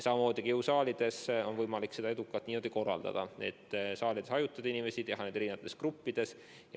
Samamoodi on jõusaalides võimalik tööd edukalt niimoodi korraldada, et saalides on inimesed hajutatud, harjutatakse eri gruppides.